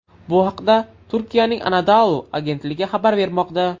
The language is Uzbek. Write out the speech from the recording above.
Bu haqda Turkiyaning Anadolu agentligi xabar bermoqda .